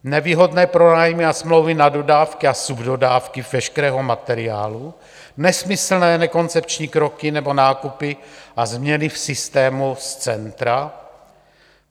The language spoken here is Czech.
Nevýhodné pronájmy a smlouvy na dodávky a subdodávky veškerého materiálu, nesmyslné, nekoncepční kroky nebo nákupy a změny v systému z centra.